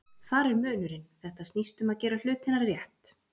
Þar er munurinn, þetta snýst um að gera hlutina rétt.